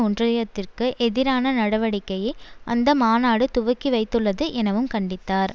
ஒன்றயத்திற்கு எதிரான நடவடிக்கையை அந்த மாநாடு துவக்கிவைத்துள்ளது எனவும் கண்டித்தார்